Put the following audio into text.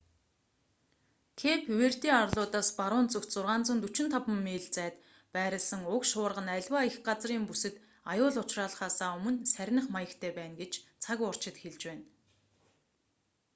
кэйп верде арлуудаас баруун зүгт 645 миль 1040 км зайд байрласан уг шуурга нь аливаа эх газрын бүсэд аюул учруулахаасаа өмнө сарних маягтай байна гэж цаг уурчид хэлж байна